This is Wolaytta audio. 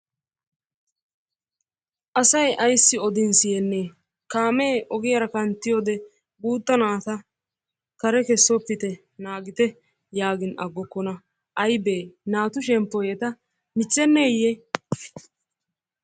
Asay ayssi odin siyyenne! Kaame ogiyaara kanttiyoode guutta naata kare kessoppite naagite yaagin agokkona. Aybbe naatu shemppoy eta michcheneyye?